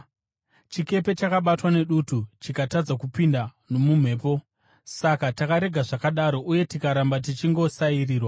Chikepe chakabatwa nedutu chikatadza kupinda nomumhepo; saka takarega zvakadaro uye tikaramba tichingosairirwa.